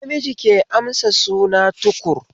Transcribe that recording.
Namiji ke amsa suna Tukur